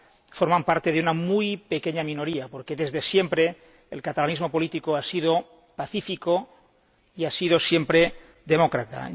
son obra de una muy pequeña minoría, porque desde siempre el catalanismo político ha sido pacífico y ha sido siempre demócrata.